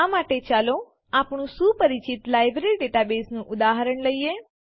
આ માટે ચાલો આપણું સુપરિચિત લાઈબ્રેરી ડેટાબેઝનું ઉદાહરણ લઈએ